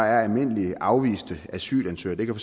er almindelige afviste asylansøgere det kan